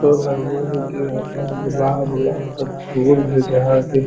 तो लगो हय कि अपन गुलाब-उलाब के फुल हय जहां कि --